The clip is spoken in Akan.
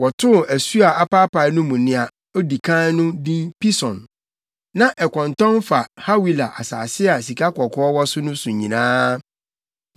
Wɔtoo asu a apaapae no mu nea edi kan no din Pison. Na ɛkɔntɔn fa Hawila asase a sikakɔkɔɔ wɔ so no so nyinaa.